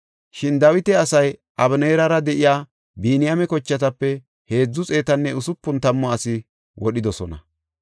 Shin Dawita asay Abeneerara de7iya Biniyaame kochatape heedzu xeetanne usupun tammu asi wodhidosona.